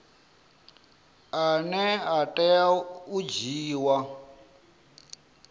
ane a tea u dzhiiwa